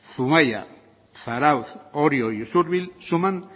zumaia zarautz orio y usurbil suman